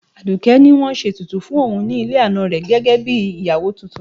Aduke ní wọ́n ṣe ètùtù fún òun ní ilé ana rẹ̀ gẹ́gẹ́ bí ìyàwó tuntun.